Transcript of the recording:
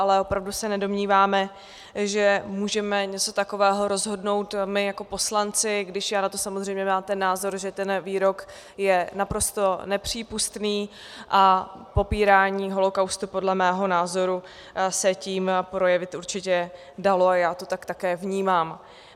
Ale opravdu se nedomníváme, že můžeme něco takového rozhodnout my jako poslanci, když já na to samozřejmě mám ten názor, že ten výrok je naprosto nepřípustný a popírání holokaustu podle mého názoru se tím projevit určitě dalo a já to tak také vnímám.